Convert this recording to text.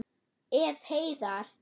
Ef. Heiðar